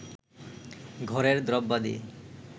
ঘরের দ্রব্যাদি